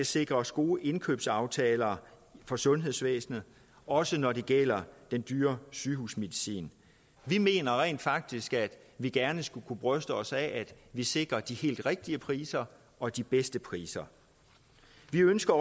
sikres gode indkøbsaftaler for sundhedsvæsenet også når det gælder den dyre sygehusmedicin vi mener rent faktisk at vi gerne skulle kunne bryste os af at vi sikrer de helt rigtige priser og de bedste priser vi ønsker